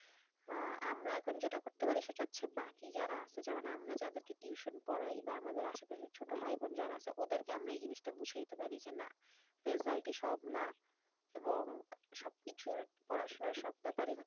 আহ আমরা এখন যেটা করতে পারি সেটা হচ্ছে বাকি যারা আছে যেমন আমরা যাদেরকে tuition পড়াই বা আমাদের আসে পাশে ছোট ভাইবোন যারা আছে ওদেরকে আমরা এই জিনিসটা বুঝাইতে পারি যে না result ই সব না এবং সবকিছুর পড়াশোনার সব ব্যাপারই হচ্ছে,